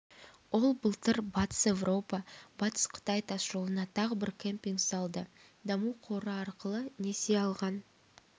ол былтыр батыс еуропа-батыс қытай тасжолына тағы бір кемпинг салды даму қоры арқылы несие алған